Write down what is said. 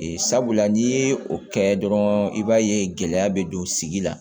Sabula n'i ye o kɛ dɔrɔn i b'a ye gɛlɛya bɛ don sigi la